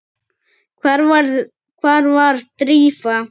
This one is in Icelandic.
Hvar var Drífa?